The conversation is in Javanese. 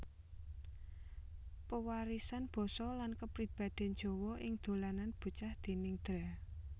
Pewarisan Basa lan Kapribaden Jawa ing Dolanan Bocah déning Dra